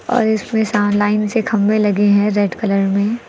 और इसमें साव लाइन से खंभे लगे हैं रेड कलर में।